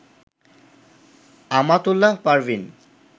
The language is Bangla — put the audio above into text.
আমাতুল্লাহ পারভীন